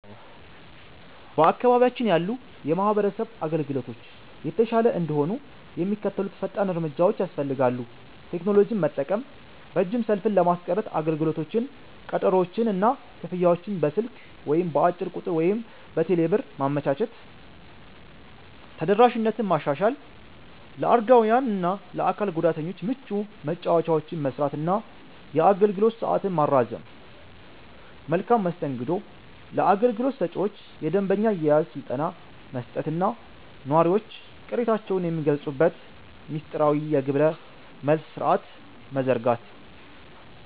በአካባቢያችን ያሉ የማህበረሰብ አገልግሎቶች የተሻለ እንዲሆኑ የሚከተሉት ፈጣን እርምጃዎች ያስፈልጋሉ፦ ቴክኖሎጂን መጠቀም፦ ረጅም ሰልፍን ለማስቀረት አገልግሎቶችን፣ ቀጠሮዎችን እና ክፍያዎችን በስልክ (በአጭር ቁጥር ወይም በቴሌብር) ማመቻቸት። ተደራሽነትን ማሻሻል፦ ለአረጋውያን እና ለአካል ጉዳተኞች ምቹ መወጣጫዎችን መሥራት እና የአገልግሎት ሰዓትን ማራዘም። መልካም መስተንግዶ፦ ለአገልግሎት ሰጪዎች የደንበኛ አያያዝ ስልጠና መስጠት እና ነዋሪዎች ቅሬታቸውን የሚገልጹበት ሚስጥራዊ የግብረ-መልስ ሥርዓት መዘርጋት።